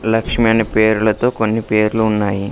లక్ష్మి అనే పేర్లతో కొన్ని పేర్లు ఉన్నాయి.